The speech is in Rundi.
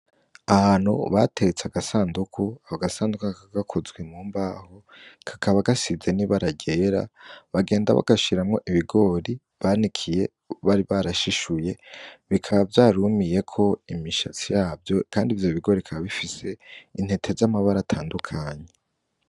Ahantu bateretse agasandugu, ako gasandugu kakaba gakozwe mu mbaho kakaba gasize n'ibara ryera bagenda bagashiramwo ibigori banikiye bari barashshuye, bikaba vyarumiyeko imishatsi yavyo kandi ivyo bigori bikaba bifise intete z'amabara atandukanye.